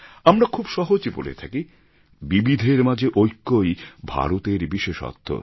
আমরা খুব সহজে বলে থাকি বিবিধের মাঝে ঐক্যই ভারতের বিশেষত্ব